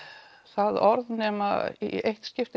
það orð nema í eitt skipti